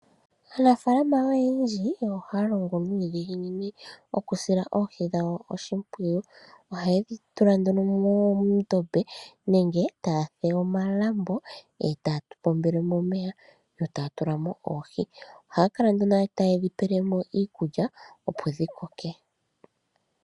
Aanafaalama oyendji ohaya longo nudhiginini okusila oohi dhawo odhimpwiyu ,ohaye dhi tula nduno muundombe nenge taye dhi fulile omalambo e taya pombele mo omeya yo taya tula mo oohi ohaya kala nduno taye dhi pe le mo iikulya opo dhi Koke.